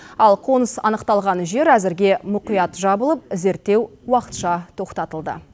ал қоныс анықталған жер әзірге мұқият жабылып зерттеу уақытша тоқтатылды